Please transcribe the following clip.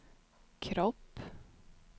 kropp